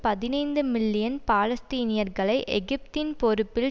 பதினைந்து மில்லியன் பாலஸ்தீனியர்களை எகிப்தின் பொறுப்பில்